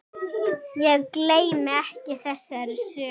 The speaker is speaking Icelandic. Ég gleymi ekki þessari sögu.